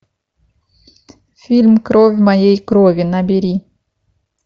фильм кровь моей крови набери